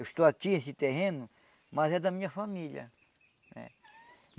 Eu estou aqui esse terreno, mas é da minha família.